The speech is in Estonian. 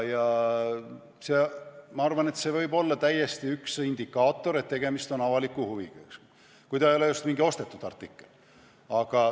Ma arvan, et see võib olla täiesti üks indikaator, et tegemist on avaliku huviga – kui ta ei ole just mingi ostetud artikkel.